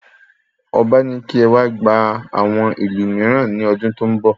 Ọba ní kí ẹ wá gba àwọn ìlù mìíràn ní ọdún tó n bọ